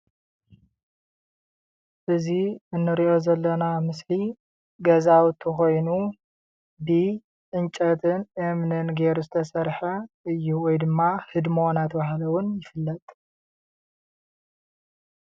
እዚ እንሪኦ ዘለና ምስሊ ገዛዉቲ ኮይኑ ብዕንጨትን እምንን ጌሩ ዝተሰርሐ እዩ ወይ ደማ ህድሞ እናተብሃለ እዉን ይፍለጥ።